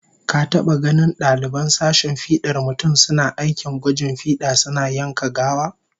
Ka taba ganin daliban sashen fidar mutum suna aikin gwajin fida suna yanka gawa?